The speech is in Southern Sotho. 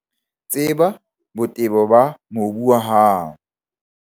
Tseba botebo ba mobu wa hao.